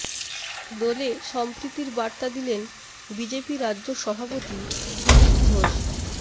দোলে সম্প্রীতির বার্তা দিলেন বিজেপি রাজ্য সভাপতি দিলীপ ঘোষ